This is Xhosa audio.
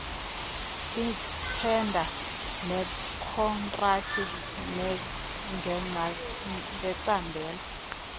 iithenda nekhontraki ngecandelo